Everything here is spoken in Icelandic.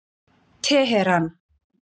Teheran